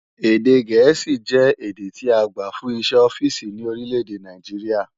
Èdè Gẹ̀ẹ́sì jẹ́ èdè tí agbà fún iṣẹ́ ọ́fíìsì ní orílèdè Nàìjíríà